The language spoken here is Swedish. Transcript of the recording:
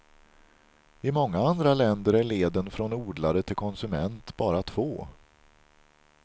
I många andra länder är leden från odlare till konsument bara två.